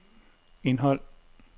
indhold